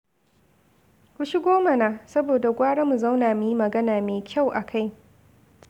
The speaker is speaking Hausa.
Ku shigo mana, saboda gwara mu zauna muyi magana mai kyau akai.